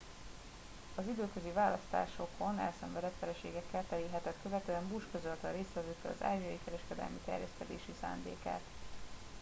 az időközi választásokon elszenvedett vereségekkel teli hetet követően bush közölte a résztvevőkkel az ázsiai kereskedelmi terjeszkedési szándékát